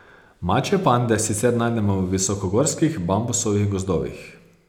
Mačje pande sicer najdemo v visokogorskih bambusovih gozdovih.